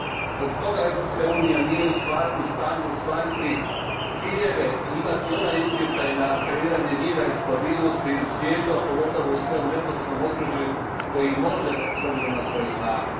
Zbog toga Europska unija nije u stanju ostvariti ciljeve i imati onaj utjecaj na kreiranje mira i stabilnosti u svijetu, a pogotovo u svom neposrednom okružju, koji može s obzirom na svoju snagu.